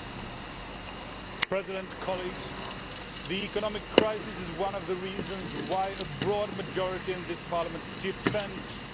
Mr President, the economic crisis is one of the reasons why a broad majority in this Parliament defends the EU budget.